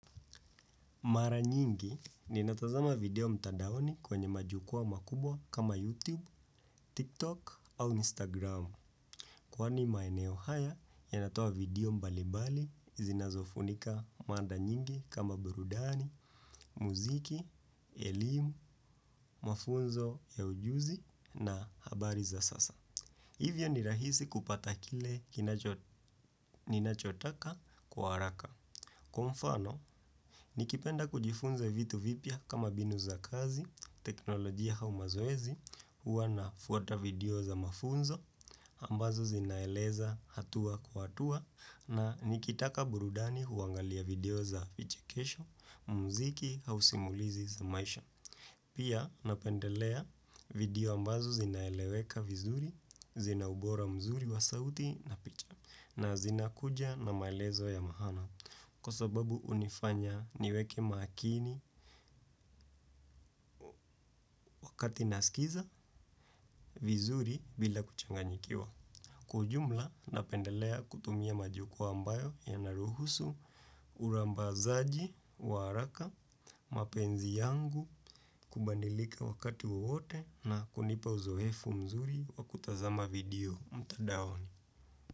Mara nyingi, ninatazama video mtadaoni kwenye majukwaa makubwa kama YouTube, TikTok au Instagram. Kwani maeneo haya, yanatoa video mbalimbali zinazofunika mada nyingi kama burudani, muziki, elimu, mafunzo ya ujuzi na habari za sasa. Hivyo ni rahisi kupata kile ninachotaka kwa haraka. Kwa mfano, nikipenda kujifunza vitu vipya kama mbinu za kazi, teknolojia au mazoezi, huwa nafuata video za mafunzo, ambazo zinaeleza hatua kwa hatua, na nikitaka burudani huangalia video za vichekesho, muziki au simulizi za maisha. Pia napendelea video ambazo zinaeleweka vizuri, zina ubora mzuri wa sauti na picha na zinakuja na maelezo ya maana kwa sababu hunifanya niweke makini wakati nasikiza vizuri bila kuchanganyikiwa. Kwa ujumla napendelea kutumia majukwaa ambayo yanaruhusu, urambazaji wa haraka, mapenzi yangu, kubadilika wakati wowote na kunipa uzoefu mzuri wa kutazama video mtandaoni.